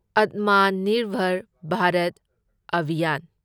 Atmanirbhar Bharat Abhiyan